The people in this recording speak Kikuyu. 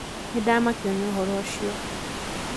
nĩndamakio nĩ ũhoro ucio